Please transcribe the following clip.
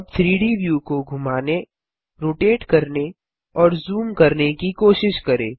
अब 3डी व्यू को घुमाने रोटेट करने और जूम करने की कोशिश करें